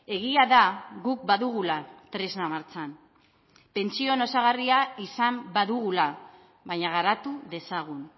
egia da guk badugula tresna martxan pentsioen osagarria izan badugula baina garatu dezagun